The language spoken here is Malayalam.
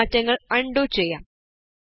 നമുക്ക് മാറ്റങ്ങള് ആണ്ഡു ചെയ്യാം